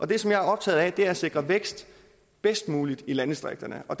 det som jeg er optaget af er at sikre væksten bedst muligt i landdistrikterne og